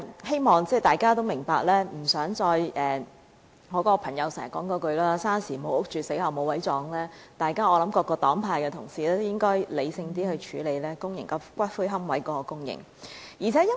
希望大家明白，大家都不想再聽到"生時無屋住，死後無位葬"的說話，因此各黨派同事應更理性處理公營龕位的供應問題。